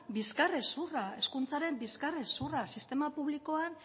bizkar hezurra hezkuntzaren bizkar hezurra sistema publikoan